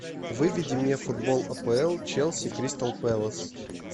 выведи мне футбол апл челси кристал пэлас